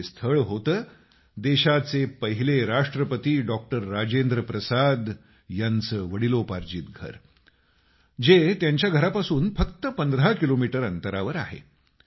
हे स्थळ होतं देशाचे पहिले राष्ट्रपति डॉक्टर राजेंद्रप्रसाद यांचं वडलोपार्जित घर जे त्यांच्या घरापासून फक्त 15 किलोमीटर अंतरावर आहे